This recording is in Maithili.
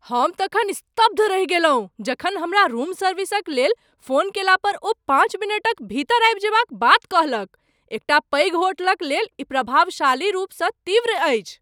हम तखन स्तब्ध रहि गेलहुँ जखन हमरा रूम सर्विसक लेल फोन कयला पर ओ पाँच मिनटक भीतर आबि जयबाक बात कहलक। एकटा पैघ होटलक लेल ई प्रभावशाली रूपसँ तीव्र अछि!